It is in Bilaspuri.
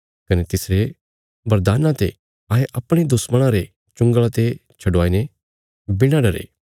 कने तिसरे बरदाना ते अहें अपणे दुश्मणां रे चुंगल़ा ते छडुआईने बिणा डरे